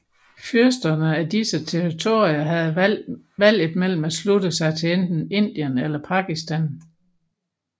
Fyrsterne af disse territorier havde valget mellem at slutte sig til enten Indien eller Pakistan